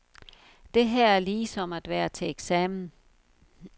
Det her er ligesom at være til eksamen.